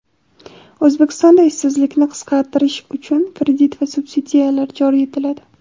O‘zbekistonda ishsizlikni qisqartirish uchun kredit va subsidiyalar joriy etiladi.